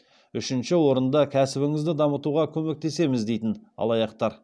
үшінші орында кәсібіңізді дамытуға көмектесеміз дейтін алаяқтар